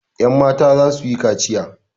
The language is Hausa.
Yanmata za su yi kaciya.